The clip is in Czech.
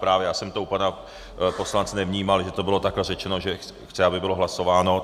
Právě, já jsem to u pana poslance nevnímal, že to bylo takhle řečeno, že chce, aby bylo hlasováno.